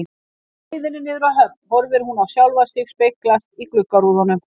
Á leiðinni niður að höfn horfir hún á sjálfa sig speglast í gluggarúðunum.